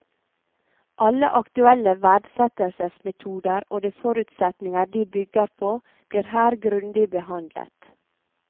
Alle aktuelle verdsettelsesmetoder og de forutsetninger de bygger på blir her grundig behandlet.